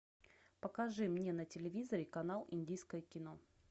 покажи мне на телевизоре канал индийское кино